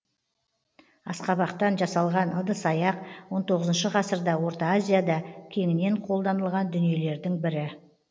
асқабақтан жасалған ыдыс аяқ он тоғызыншы ғасырда орта азияда кеңінен қолданылған дүниелердің бірі